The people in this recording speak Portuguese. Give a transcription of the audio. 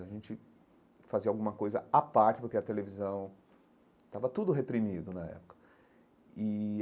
A gente fazia alguma coisa à parte, porque a televisão estava tudo reprimido na época e.